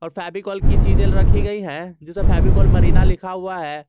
और फेविकोल की चीजे रखी गई है जिसमें फेविकोल मरीना लिखा हुआ है।